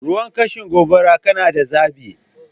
Ruwan kashe gobara, kana da zaɓi?